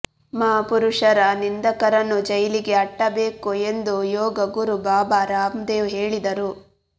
ಮಹಾಪುರುಷರ ನಿಂದಕರನ್ನು ಜೈಲಿಗೆ ಅಟ್ಟಬೇಕು ಎಂದು ಯೋಗ ಗುರು ಬಾಬಾ ರಾಮದೇವ್ ಹೇಳಿದರು